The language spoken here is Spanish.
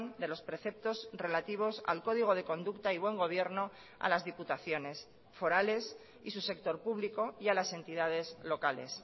de los preceptos relativos al código de conducta y buen gobierno a las diputaciones forales y su sector público y a las entidades locales